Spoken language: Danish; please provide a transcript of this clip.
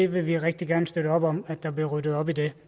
vil rigtig gerne støtte op om at der bliver ryddet op i det